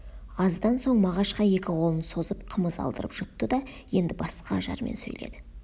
аздан соң мағашқа екі қолын созып қымыз алдырып жұтты да енді басқа ажармен сөйледі